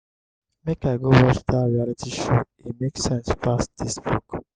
make i go watch dat reality show e make sense pass dis book.